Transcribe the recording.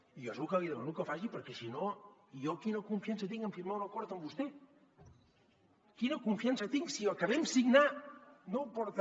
i jo és lo que li demano que faci perquè si no jo quina confiança tinc en firmar un acord amb vostè quina confiança tinc si el que vam signar no ho porta